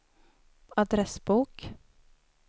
adressbok